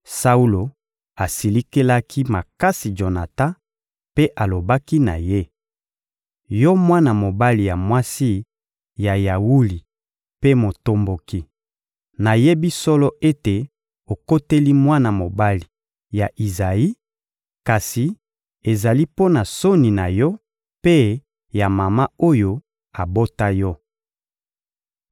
Saulo asilikelaki makasi Jonatan mpe alobaki na ye: — Yo mwana mobali ya mwasi ya yawuli mpe motomboki, nayebi solo ete okoteli mwana mobali ya Izayi; kasi ezali mpo na soni na yo mpe ya mama oyo abota yo.